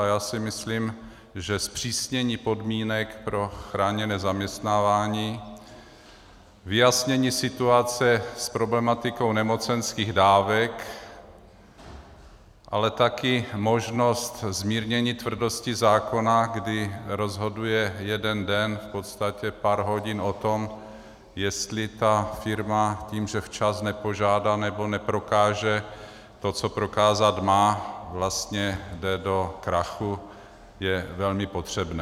A já si myslím, že zpřísnění podmínek pro chráněné zaměstnávání, vyjasnění situace s problematikou nemocenských dávek, ale také možnost zmírnění tvrdosti zákona, kdy rozhoduje jeden den, v podstatě pár hodin o tom, jestli ta firma tím, že včas nepožádá nebo neprokáže to, co prokázat má, vlastně jde do krachu, je velmi potřebné.